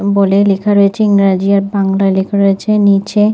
board -এ লেখা রয়েছে ইংরেজি আর বাংলা লেখা রয়েছে নিচে--